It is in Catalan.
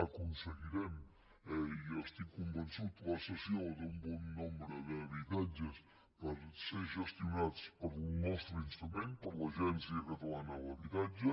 aconseguirem eh i jo n’estic convençut la cessió d’un bon nombre d’habitatges per ser gestionats pel nostre instrument per l’agència catalana de l’habitatge